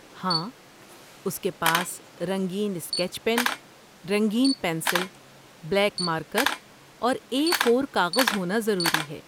ہاں، اس کے پاس رنگین اسکیچ پین، رنگین پنسل، بلیک مارکر اور اے فور کاغذ ہونا ضروری ہے